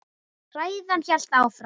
Ræðan hélt áfram: